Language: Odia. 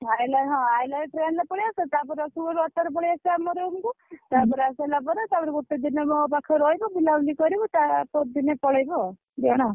ଆଇଲା ବେଳକୁ ହଁ ଆଇଲା ବେଳେ train ରେ ପଳେଇଆସିବା। ତାପରେ ରସୁଲଗଡ଼ରୁ auto ରେ ପଳେଇଆସିବା ଆମ room କୁ ତାପରେ ଆସିସାଇଲା ପରେ ତାପରେ ଗୋଟେ ଦିନ ମୋ ପାଖରେ ରହିବୁ ବୁଲାବୁଲି କରିବୁ। ତା ପରଦିନ ପଳେଇବୁ ଆଉ ଦିଜଣ।